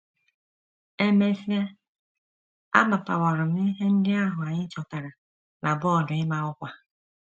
E mesịa, amapawara m ihe ndị ahụ anyị chọtara na bọọdụ ịma ọkwa. ”